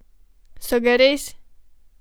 So ga res?